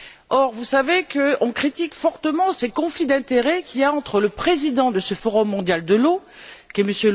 Or, vous savez qu'on critique fortement le conflit d'intérêts qui existe du fait que le président de ce Forum mondial de l'eau, M.